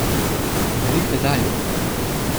Berite dalje!